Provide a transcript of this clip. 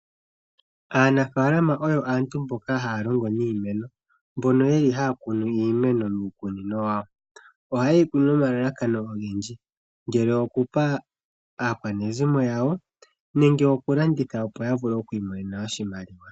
Aanafalama oyo aantu mboka haya longo niimeno mbono yeli haya kunu iimeno miikunino yawo. Oha yeyi kunu nomalalakano ogendji ngele okupa aakwanezimo yawo nenge okulanditha, opo yiimonene oshimaliwa.